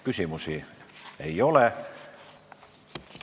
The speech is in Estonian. Küsimusi ei ole.